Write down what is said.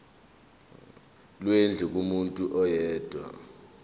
lwendlu kumuntu oyedwa